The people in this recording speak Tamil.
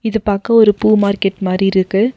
இது பார்க்க ஒரு பூ மார்க்கெட் மாறி இருக்கு.